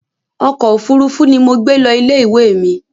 Ọkọ̀ òfuurufú ni mo gbé lọ ilé ìwé mi